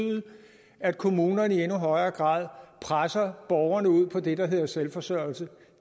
at kommunerne i endnu højere grad presser borgerne ud på det der hedder selvforsørgelse